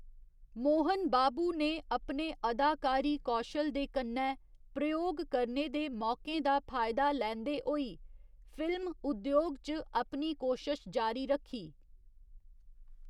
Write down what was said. मोहन बाबू ने अपने अदाकारी कौशल दे कन्नै प्रयोग करने दे मौकें दा फायदा लैंदे होई फिल्म उद्योग च अपनी कोशश जारी रक्खी।